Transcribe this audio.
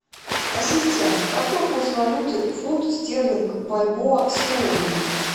ассистент какой курс валюты фунт стерлинг бальбоа сегодня